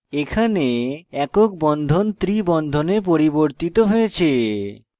এখানে একক বন্ধনকে triple বন্ধনে পরিবর্তিত হয়েছে